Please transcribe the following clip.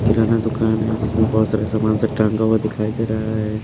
किराना दुकान है जिसमें बहोत सारे सामान सब टांगा हुआ दिखाई दे रहा है।